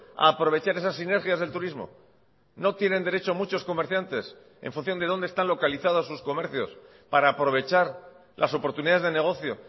a aprovechar esas sinergias del turismo no tienen derecho muchos comerciantes en función de dónde están localizados sus comercios para aprovechar las oportunidades de negocio